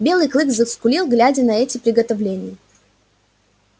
белый клык заскулил глядя на эти приготовления